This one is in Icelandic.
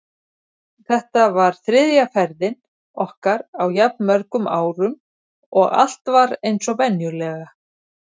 Þetta var þriðja ferðin okkar á jafn mörgum árum og allt var eins og venjulega.